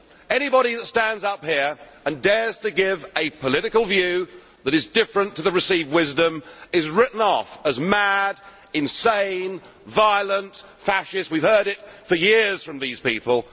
Anybody who stands up here and dares to give a political view which is different from the received wisdom is written off as mad, insane, violent and fascist we have heard it for years from these people.